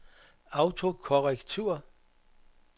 autokorrektur